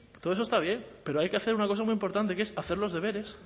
todo eso está bien pero hay que hacer una cosa muy importante que es hacer los deberes